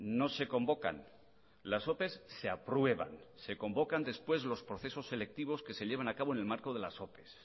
no se convocan las ope se aprueban se convocan después los procesos selectivos que se llevan a cabo en el marco de las ope